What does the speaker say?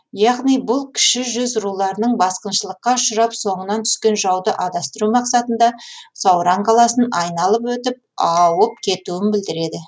яғни бұл кіші жүз руларының басқыншылыкқа ұшырап соңынан түскен жауды адастыру мақсатында сауран қаласын айналып өтіп аауып кетуін білдіреді